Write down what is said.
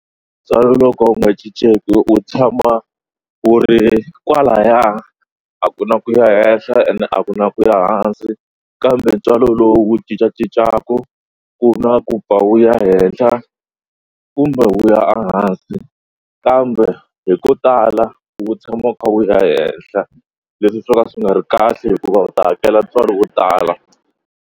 Ntswalo lowu ka wu nga cincenki u tshama u ri kwalaya a ku na ku ya henhla ene a ku na ku ya hansi kambe ntswalo lowu cincacincaka ku na ku pfa wu ya henhla kumbe wu ya hansi kambe hi ko tala wu tshama wu kha wu ya ehehla leswi swo ka swi nga ri kahle hikuva u ta hakela ntswalo wo tala.